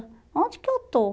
Onde que eu estou?